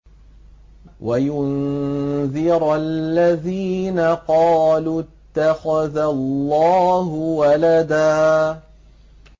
وَيُنذِرَ الَّذِينَ قَالُوا اتَّخَذَ اللَّهُ وَلَدًا